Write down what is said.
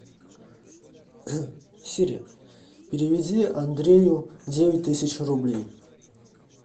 сири переведи андрею девять тысяч рублей